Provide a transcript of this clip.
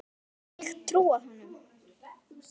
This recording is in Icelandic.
Gat ég trúað honum?